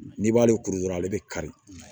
N'i b'ale kuru dɔrɔn ale bɛ kari